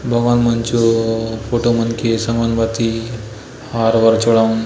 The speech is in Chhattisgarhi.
भगवान मन चो फोटो मन के संगाऊंन भांति हार वार चड़ाऊन --